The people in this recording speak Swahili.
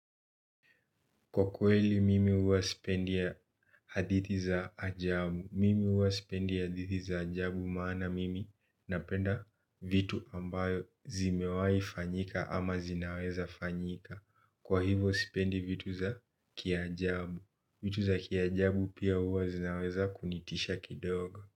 Kwa kweli mimi huwa sipendi hadithi za ajabu. Mimi huwa spendi ya hadithi za ajabu maana mimi napenda vitu ambayo zimewai fanyika ama zinaweza fanyika. Kwa hivo spendi vitu za kia ajabu. Vitu za kia ajabu pia huwa zinaweza kunitisha kidoga.